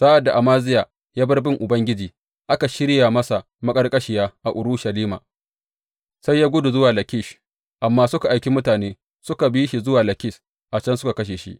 Sa’ad da Amaziya ya bar bin Ubangiji, aka shirya masa maƙarƙashiya a Urushalima, sai ya gudu zuwa Lakish, amma suka aiki mutane suka bi shi zuwa Lakish, a can suka kashe shi.